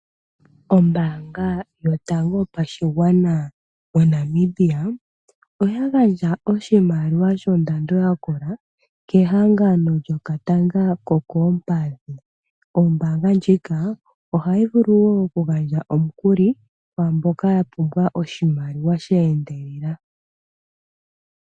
Ombanga yotango yopashigwana moNamibia oya gandja oshimaliwa shondando yakola kehagano lyokatanga kokoompadhi. Ombanga ndjika ohayi vulu wo oku gandja omukuli kwaamboka ya pumbwa oshimaliwa sheendelela.